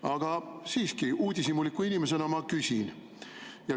Aga siiski, uudishimuliku inimesena ma küsin.